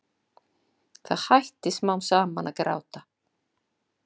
Það hætti smám saman að gráta.